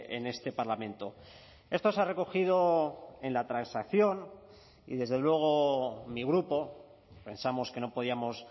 en este parlamento esto se ha recogido en la transacción y desde luego mi grupo pensamos que no podíamos